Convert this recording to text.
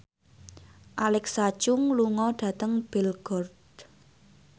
Alexa Chung lunga dhateng Belgorod